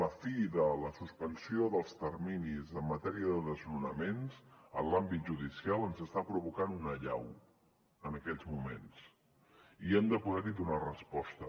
la fi de la suspensió dels terminis en matèria de desnonaments en l’àmbit judicial ens està provocant una allau en aquests moments i hem de poder hi donar resposta